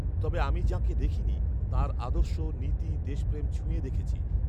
তবে আমি যাঁকে দেখিনি, তাঁর আদর্শ, নীতি, দেশপ্রেম ছু্ঁয়ে দেখেছি